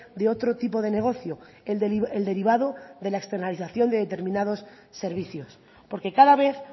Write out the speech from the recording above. de otro tipo de negocio el derivado de la externalización de determinados servicios porque cada vez